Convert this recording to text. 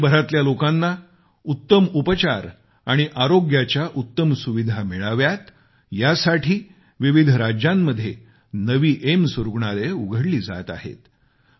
देशभरातल्या लोकांना उत्तम उपचार आणि आरोग्याच्या उत्तम सुविधा मिळाव्यात यासाठी विविध राज्यांमध्ये नवी एम्स रुग्णालये उघडली जात आहेत